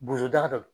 Bozoda